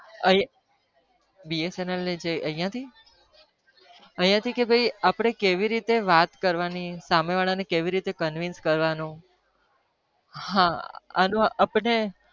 અહિયાં થી તો મને કેવી રીતે વાત કરવાની સામે વાળા ને કેવી રીતે મનાવવાન